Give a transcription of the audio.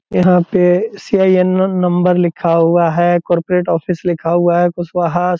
यहाँ पे सी.आई.एन. न नंबर लिखा हुआ है कॉरपोरेट ऑफिस लिखा हुआ है कुशवाहा --